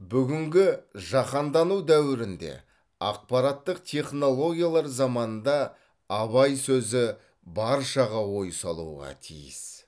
бүгінгі жаһандану дәуірінде ақпараттық технологиялар заманында абай сөзі баршаға ой салуға тиіс